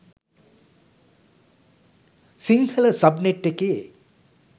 Sinhala sub net එකේ